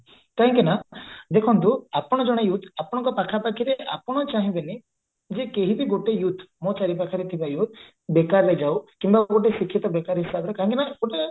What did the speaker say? କାହିଁକି ନା ଦେଖନ୍ତୁ ଆପଣ ଜଣେ youth ଆପଣଙ୍କ ପାଖା ପାଖିରେ ଆପଣ ଚାହିଁବେନି ଯେ କେହି ବି ଗୋଟେ youth ମୋ ଚାରିପାଖରେ ଥିବା youth ବେକାରରେ ଯାଉ କିମ୍ବା ଗୋଟେ ଶିକ୍ଷିତ ବେକାରି ହିସାବରେ କାହିଁକିନା ଗୋଟେ